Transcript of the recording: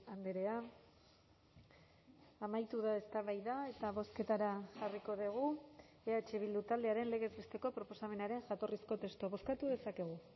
andrea amaitu da eztabaida eta bozketara jarriko dugu eh bildu taldearen legez besteko proposamenaren jatorrizko testua bozkatu dezakegu